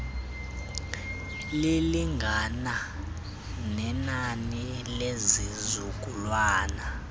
lilingana nenani lezizukulwana